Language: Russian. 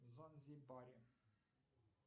в занзибаре